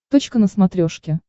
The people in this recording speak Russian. точка на смотрешке